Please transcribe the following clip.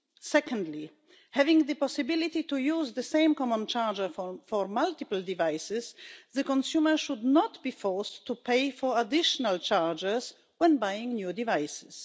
Secondly, having the possibility to use the same common charger for multiple devices, the consumer should not be forced to pay additional charges when buying new devices.